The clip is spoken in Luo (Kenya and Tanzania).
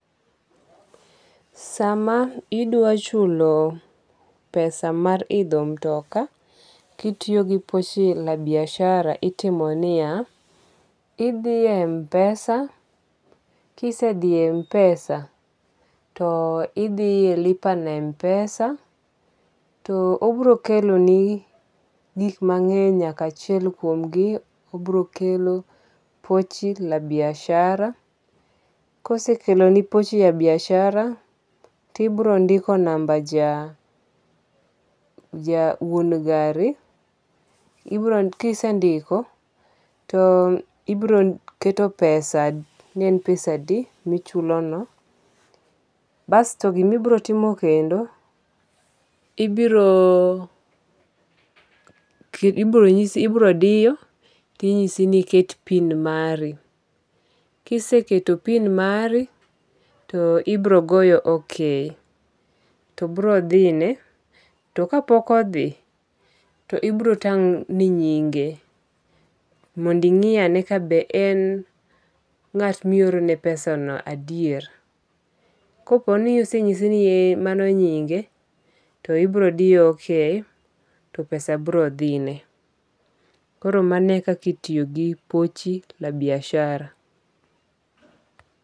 Sama idwa chulo pesa mar idho mtoka kitiyo gi Pochi la Biashara itimo niya. Idhie MPesa. Kise dhi e MPesa to idhiye lipa na MPesa to obiro keloni gik mangeny nyaka achiel kuom gi obiro kelo Pochi la Biashara. Kosekeloni Pochi la Biashara to ibiro ndiko namba ja wuon gari. Kisendiko to ibiro keto pesa ne en pesa adi michulo no. Bas to gima ibiro timo kendo, ibiro nyisi ibiro diyo tichisi ni eket PIN mari. Kisketo PIN mari to ibiro goyo OK to biro dhine. To kapok odhi, to ibiro tang' ni nyinge mond ing'i ane ka be en ng'at mi oro ne pesa no adier. Kopo ni osenyisi ni e mano nyinge to ibiro diyo OK to pesa biro dhi ne. Koro mano e kaka itiyo gi Pochi la Boiashara.